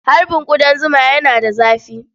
Harbin ƙudan zuma yana da dafi.